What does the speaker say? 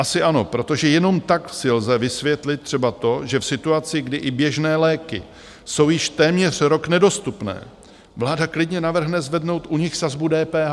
Asi ano, protože jenom tak si lze vysvětlit třeba to, že v situaci, kdy i běžné léky jsou již téměř rok nedostupné, vláda klidně navrhne zvednout u nich sazbu DPH!